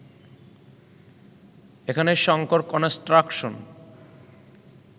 এখানে শঙ্কর কনস্ট্রাকশন